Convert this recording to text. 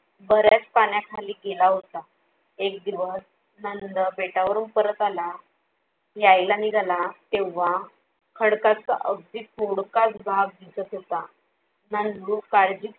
बऱ्याच पाण्याखाली गेला होता. एक दिवस नंद बेटावरून परत आला यायला निघाला तेव्हा खडकाचा अगदी थोडकाच भाग दिसत होता. नंदू काळजीपूर्वक